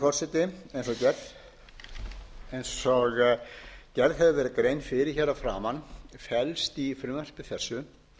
forseti eins og gerð hefur verið grein fyrir hér að framan felst í frumvarpi þessu